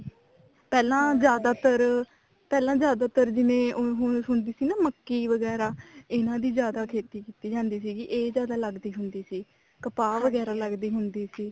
ਪਹਿਲਾਂ ਜਿਆਦਾਤਰ ਪਹਿਲਾਂ ਜਿਆਦਾਤਰ ਹੁਣ ਜਿਵੇਂ ਹੁਣ ਹੁੰਦੀ ਸੀ ਨਾ ਮੱਕੀ ਵਗੈਰਾ ਇਹਨਾ ਦੀ ਜਿਆਦਾ ਖੇਤੀ ਕੀਤੀ ਜਾਂਦੀ ਸੀ ਇਹ ਜਿਆਦਾ ਲੱਗਦੀ ਹੁੰਦੀ ਸੀ ਕਪਾਹ ਵਗੈਰਾ ਲੱਗਦੀ ਹੁੰਦੀ ਸੀ